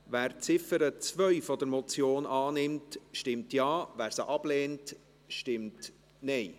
Wer die Ziffer 2 dieser Motion annehmen will, stimmt Ja, wer dies ablehnt, stimmt Nein.